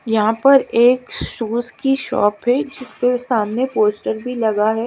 यहाँ पर शुज कि शॉप है जिस सामने पोस्टर भी लगा है।